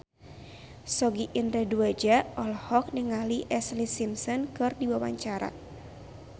Sogi Indra Duaja olohok ningali Ashlee Simpson keur diwawancara